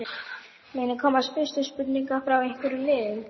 Munu koma fyrirspurnir frá einhverjum liðum?